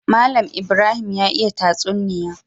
Mallan Ibrahim ya iya tatsuniya